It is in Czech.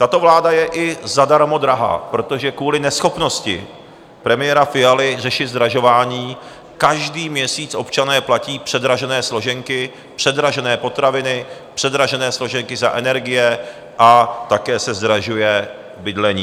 Tato vláda je i zadarmo drahá, protože kvůli neschopnosti premiéra Fialy řešit zdražování každý měsíc občané platí předražené složenky, předražené potraviny, předražené složenky za energie a také se zdražuje bydlení.